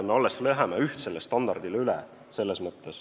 Me alles läheme ühtsele standardile üle.